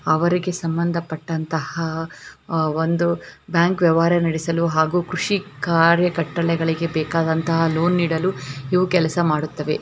ಅವರಿಗೆ ಸಂಭಂದ ಪಟ್ಟಂತಹ ಒಂದು ಬ್ಯಾಂಕ್ ವ್ಯವಹಾರ ನಡೆಸಲು ಹಾಗು ಕೃಷಿ ಕಾರ್ಯ ಕಟ್ಟಳೆಗಳಿಗೆ ಬೇಕಾದಂತಹ ಲೋನ್ ನೀಡಲು ಇವು ಕೆಲಸ ಮಾಡುತ್ತವೆ .